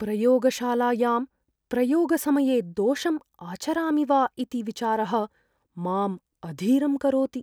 प्रयोगशालायां प्रयोगसमये दोषम् आचरामि वा इति विचारः माम् अधीरं करोति।